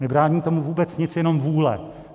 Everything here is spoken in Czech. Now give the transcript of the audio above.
Nebrání tomu vůbec nic, jenom vůle.